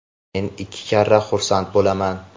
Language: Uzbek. men ikki karra xursand bo‘laman.